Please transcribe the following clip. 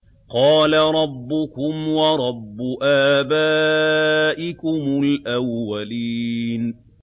قَالَ رَبُّكُمْ وَرَبُّ آبَائِكُمُ الْأَوَّلِينَ